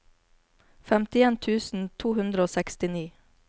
femtien tusen to hundre og sekstini